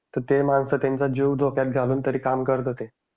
ते माणसं त्यांचा जीव धोक्यात घालून तरी काम करत होते.